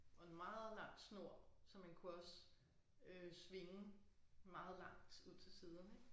Og en meget lang snor så man kunne også øh svinge meget langt ud til siderne ik